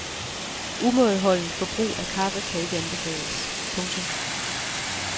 Umådeholdent forbrug af kaffe kan ikke anbefales. punktum